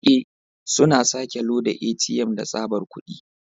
Rike, suna sake loda ATM da tsabar kudi.